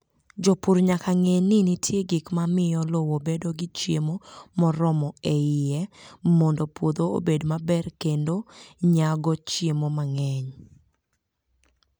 Jopur nyaka ng'e ni nitie gik ma miyo lowo bedo gi chiemo moromo e iye mondo puodho obed maber kendo nyago chiemo mang'eny.